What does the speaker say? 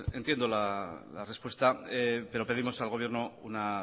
entiendo la respuesta pero pedimos al gobierno una